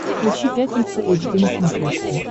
включи пятница эйч ди на смотрешке